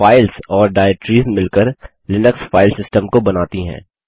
files और directories मिलकर Linux file system को बनाती हैं